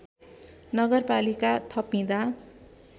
नगरपालिका थपिँदा